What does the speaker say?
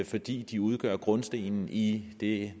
fordi de udgør grundstenen i det